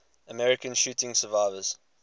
american shooting survivors